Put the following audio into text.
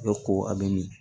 ko a bɛ min